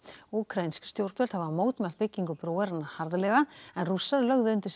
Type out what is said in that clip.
úkraínsk stjórnvöld hafa mótmælt byggingu brúarinnar harðlega en Rússar lögðu undir sig